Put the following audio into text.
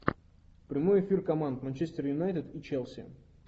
прямой эфир команд манчестер юнайтед и челси